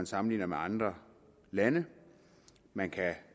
sammenligner med andre lande man kan